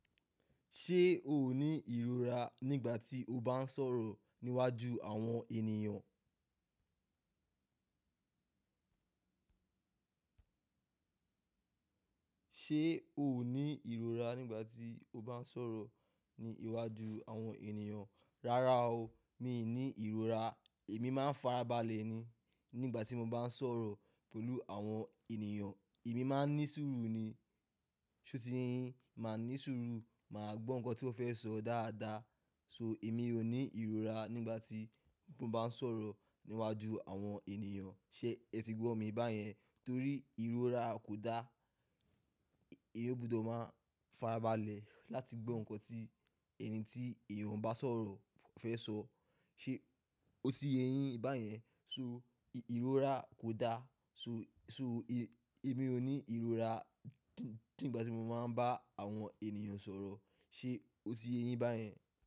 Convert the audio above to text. Ṣé o ní ìrora nígbà tí o bá ń sọ̀rọ̀ níwájú àwọn ènìyàn? Ṣé o ní ìrora nígbà tí o bá ń sọ̀rọ̀ ní iwájú àwọn ènìyàn? Rárá o, mi ò ní ìrora, èmi máa ń farabalẹ̀ ni. Nígbà tí mo bá ń sọ̀rọ̀ pẹ̀lú àwọn ènìyàn, èmi máa ń ní sùúrù ni. Ṣé o ti ye yin? Màá ní sùúrù, màá gbọ́ nnkan tí wọ́n fẹ́ sọ dáadáa. So èmi ò ní ìrora nígbà tí mo bá ń sọ̀rọ̀ níwájú àwọn ènìyàn. Ṣé ẹ ti gbọ́ mi báyẹn? Torí ìrora kò dá, èyí ó gbọdọ̀ máa farabalẹ̀ láti gbọ́ nnkan tí ẹni tí èèyàn bá sọ̀rọ̀ fẹ́ sọ. Ṣé o ti yéyín báyẹn? So ìrora kò dá, so èmi ò ní ìrora nígbà tí mo máa ń bá àwọn ènìyàn sọ̀rọ̀. Ṣé o ti yéyín báyẹn?